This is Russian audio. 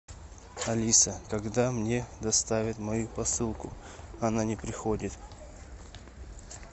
алиса когда мне доставят мою посылку она не приходит